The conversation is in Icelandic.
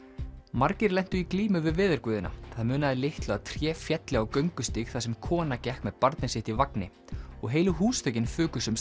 margir lentu í glímu við veðurguðina það munaði litlu að tré félli á göngustíg þar sem kona gekk með barnið sitt í vagni og heilu húsþökin fuku